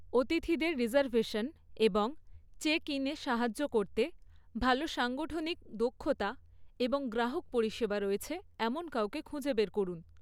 অতিথিদের রিজার্ভেশন এবং চেক ইনে সাহায্য করতে ভাল সাংগঠনিক দক্ষতা এবং গ্রাহক পরিষেবা রয়েছে এমন কাউকে খুঁজে বের করুন।